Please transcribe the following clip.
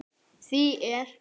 Því er